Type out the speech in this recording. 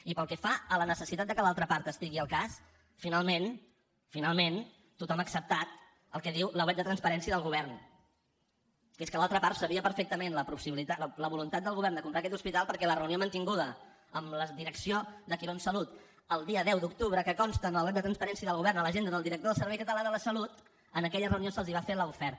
i pel que fa a la necessitat que l’altra part estigui al cas finalment finalment tothom ha acceptat el que diu la web de transparència del govern que és que l’altra part sabia perfectament la voluntat del govern de comprar aquest hospital perquè la reunió mantinguda amb la direcció de quirónsalud el dia deu d’octubre que consta en la web de transparència del govern a l’agenda del director del servei català de la salut en aquella reunió se’ls va fer l’oferta